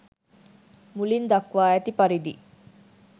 මුලින් දක්වා ඇති පරිදි